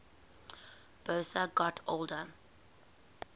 boas got older